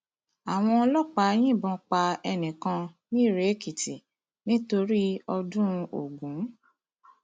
àwọn ọlọpàá yìnbọn pa ẹnì kan nirèèkìtì nítorí ọdún ogun